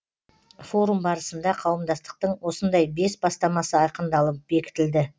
форум барысында қауымдастықтың осындай бес бастамасы айқындалып бекітілді